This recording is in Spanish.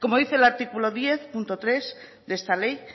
como dice el artículo diez punto tres de esta ley